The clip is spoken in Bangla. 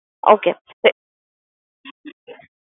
Okay, sir